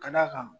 Ka d'a kan